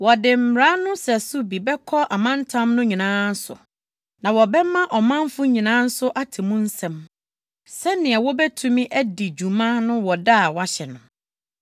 Wɔde mmara no sɛso bi bɛkɔ amantam no nyinaa so, na wɔbɛma ɔmanfo nyinaa nso ate mu nsɛm, sɛnea wobetumi adi dwuma no wɔ da a wɔahyɛ no.